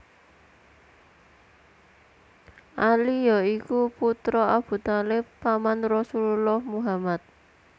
Ali ya iku putra Abu Thalib paman Rasulullah Muhammad